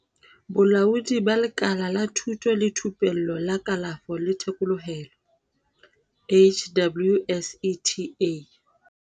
Bolaodi ba Lekala la Thuto le Thupello la Kalafo le Thekolohelo, HWSETA.